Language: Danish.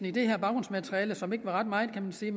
i det her baggrundsmateriale som ikke er ret meget kan man sige